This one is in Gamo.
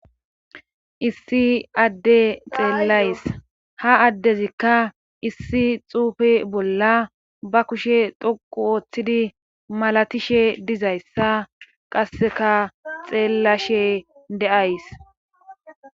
Issi adde xeellays ha addezikka issi xuufe bolla ba kushe toqu ooththidi malatishe dizayssa qasseka xeellashe de'ays.